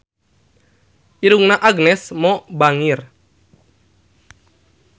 Irungna Agnes Mo bangir